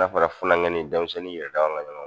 N'a fɔra funankɛnin denmisɛnnin yɛrɛ dama ka ɲɔgɔn